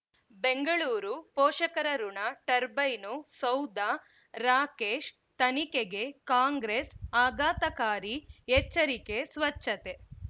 ಬೆಂಗಳೂರು ಪೋಷಕರಋಣ ಟರ್ಬೈನು ಸೌಧ ರಾಕೇಶ್ ತನಿಖೆಗೆ ಕಾಂಗ್ರೆಸ್ ಆಘಾತಕಾರಿ ಎಚ್ಚರಿಕೆ ಸ್ವಚ್ಛತೆ